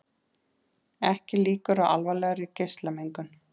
Ekki líkur á alvarlegri geislamengun